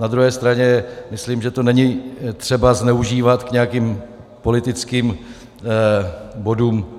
Na druhé straně myslím, že to není třeba zneužívat k nějakým politickým bodům.